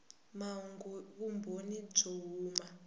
mahungu hi vumbhoni byo huma